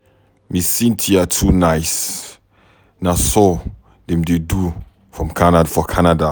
Ms. Cynthia too nice. Na so dem dey do for Canada.